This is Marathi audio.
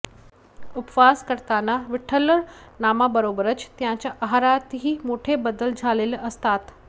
उपवास करताना विठ्ठलनामाबरोबरच त्यांच्या आहारातही मोठे बदल झालेले असतात